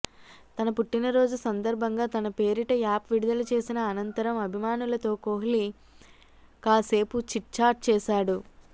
తన పుట్టినరోజు సందర్భంగా తన పేరిట యాప్ విడుదల చేసిన అనంతరం అభిమానులతో కోహ్లీ కాసేపు చిట్ చాట్ చేశాడు